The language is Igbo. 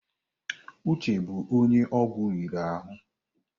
Uche bụ onye ọgwụ riri ahụ.